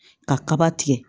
Ka kaba tigɛ